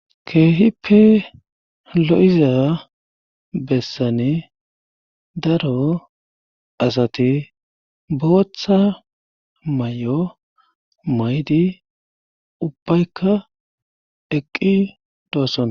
keehippe lo7iza bessani daro asati booththa mayo maydi ubbaykka eqqi doossona.